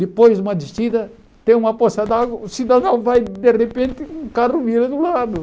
Depois de uma descida, tem uma poça d'água, o cidadão vai, de repente, com o carro vira do lado.